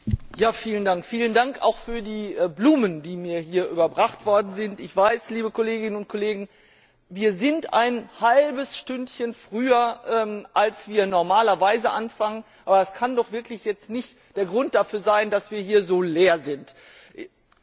Herr Präsident! Vielen Dank auch für die Blumen, die mir hier überbracht worden sind! Ich weiß, liebe Kolleginnen und Kollegen, es ist ein halbes Stündchen früher, als wir normalerweise anfangen, aber das kann doch jetzt wirklich nicht der Grund dafür sein, dass es hier so leer ist.